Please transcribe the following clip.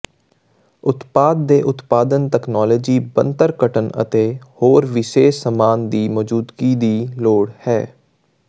ਉਤਪਾਦ ਦੇ ਉਤਪਾਦਨ ਤਕਨਾਲੋਜੀ ਬਣਤਰ ਕਟਣ ਅਤੇ ਹੋਰ ਵਿਸ਼ੇਸ਼ ਸਾਮਾਨ ਦੀ ਮੌਜੂਦਗੀ ਦੀ ਲੋੜ ਹੈ